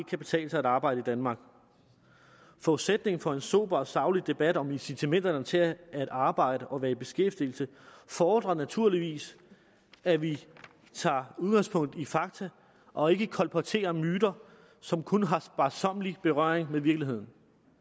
kan betale sig at arbejde i danmark forudsætningen for en sober og saglig debat om incitamenterne til at arbejde og være i beskæftigelse fordrer naturligvis at vi tager udgangspunkt i fakta og ikke kolporterer myter som kun har sparsom berøring med virkeligheden